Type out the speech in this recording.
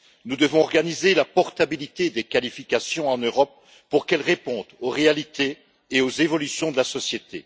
Nous devons organiser la portabilité des qualifications en Europe pour qu'elles répondent aux réalités et aux évolutions de la société.